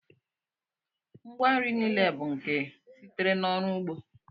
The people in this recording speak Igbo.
Ngwa nri niile bụ nke sitere n'ọrụ ugbo